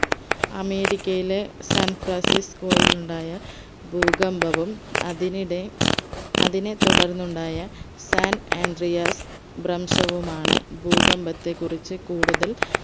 അമേരിക്കയിലെ സാൻഫ്രാസ്‌സിസ്കോയിൽ ഉണ്ടായ ഭൂകമ്പവും അതിനിടെ അതിനെ തുടർന്നുണ്ടായ സാൻ ആൻഡ്രിയാസ് ഭ്രംശവുമാണ് ഭൂകമ്പത്തെ കുറിച്ച് കൂടുതൽ